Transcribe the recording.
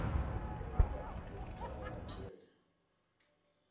emagama ekucala lagcwele